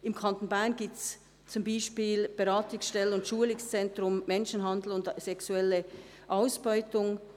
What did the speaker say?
Im Kanton Bern gibt es zum Beispiel die Beratungsstelle und Schulungszentrum Menschenhandel und sexuelle Ausbeutung